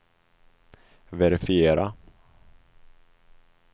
verifiera